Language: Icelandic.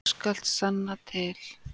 Þú skalt sanna til.